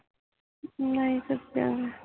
ਨਹੀਂ ਸੁਤਿਆ ਸੀ